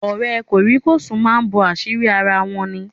Ọ̀rẹ́ kòríkòsùn máa ń bo àṣírí ara wọn ní.